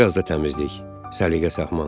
Biraz da təmizlik, səliqə-səhman.